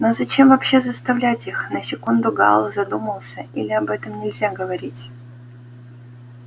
но зачем вообще заставлять их на секунду гаал задумался или об этом нельзя говорить